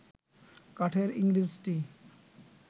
কাঠের ইংরেজটি